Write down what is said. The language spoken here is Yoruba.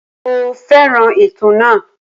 Mo fẹ́ràn ètò náà.